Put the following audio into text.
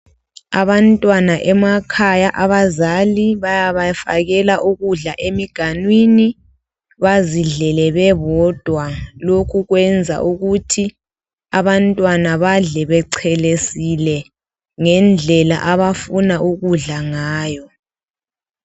abantwana emakhaya abazali bayabafakela ukudla emiganwini bazidlele bebodwa lokhu kwenza ukuthi abantwana badle bechelesile ngendlela abafuna ukudla ngayo